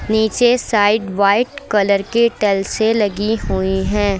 नीचे side white colour की टाइल्से लगी हुई हैं।